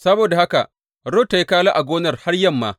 Saboda haka Rut ta yi kala a gonar har yamma.